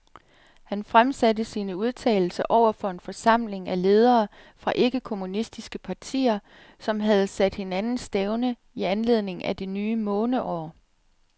Han fremsatte sine udtalelser over for en forsamling af ledere fra ikke-kommunistiske partier, som havde sat hinanden stævne i anledning af det nye måneår.